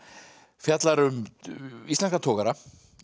fjallar um íslenska togara